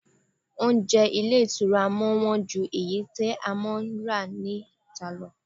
Oúnjẹ ilé ìtura máa ń wọ́n ju èyí tí a máa ń rà níta lọ.